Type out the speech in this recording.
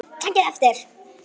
Takið eftir!